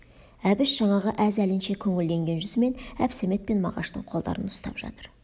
әбіш жаңағы әз әлінше көңілденген жүзімен әбсәмет пен мағаштың қолдарын ұстап жатыр